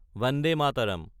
Vande Mataram